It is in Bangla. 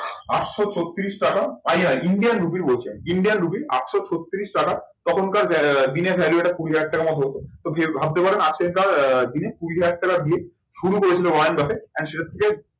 আটশো ছত্রিশ টাকা ইন্ডিয়ান রুপি বলছি আমি, ইন্ডিয়ান রুপি আটশো ছত্রিশ টাকা, তখনকার বেলাকার দিনে কুড়ি হাজার টাকার মতো হতো, তো কি ভাবতে পারেন আজকেরকার দিনে কুড়ি হাজার টাকা দিয়ে শুরু করেছিল মহেন্দ্র